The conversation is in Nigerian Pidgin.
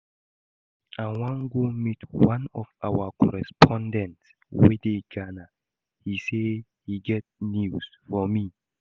I wan go meet one of our correspondent wey dey Ghana, he say he get news for me